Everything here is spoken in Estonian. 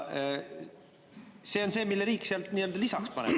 See on see, mille riik sealt lisaks paneb.